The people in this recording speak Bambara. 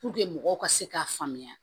mɔgɔw ka se k'a faamuya